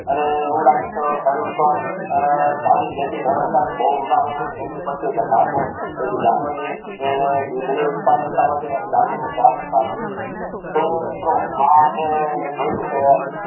અને એવું લાગે તો શરીર ઉપર આ પાણી બે થિસ ટ્રેન વખત બાકૂ ઉનાળો હોય ને ગરમી પદથી થાય તો જાનવરની દુદ ની ઉથપધાત વધે ને એનું સ્વાસ્થ્ય સારું રહે તો મિત્રો આ આપડે મેં જોય કે